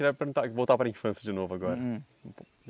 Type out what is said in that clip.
Queria perguntar, voltar para infância de novo agora. Uhum